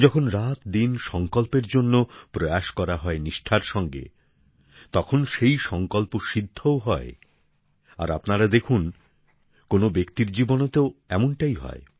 যখন রাতদিন নিষ্ঠার সঙ্গে সঙ্কল্পের জন্য উদ্যোগ নেওয়া হয় তখন সেই সঙ্কল্প বাস্তবায়িতও হয় আর আপনারা দেখুন কোনও ব্যক্তির জীবনেও তো এমনটাই হয়